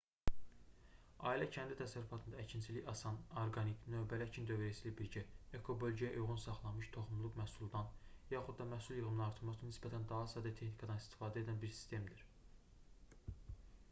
ailə-kəndli təsərrüfatında əkinçilik asan orqanik növbəli əkin dövriyyəsi ilə birgə ekobölgəyə uyğun saxlanmış toxumluq məhsuldan yaxud da məhsul yığımını artırmaq üçün nisbətən daha sadə texnikadan istifadə edən bir sistemdir